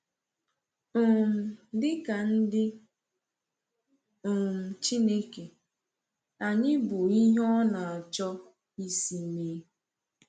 um Dịka ndị um Chineke, anyị bụ ihe ọ na-achọ isi mee.